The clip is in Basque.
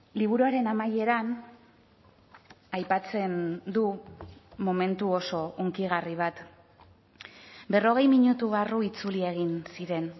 liburuaren amaieran aipatzen du momentu oso hunkigarri bat berrogei minutu barru itzuli egin ziren